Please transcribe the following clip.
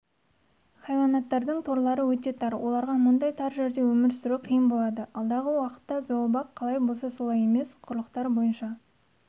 хайуанаттардың торлары өте тар оларға мұндай тар жерде өмір сүру қиын болады алдағы уақытта зообақ қалай болса солай емес құрлықтар бойынша